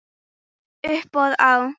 Uppboð á